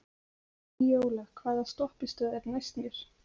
Víóla, hvaða stoppistöð er næst mér?